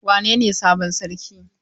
Wanene sabon sarki?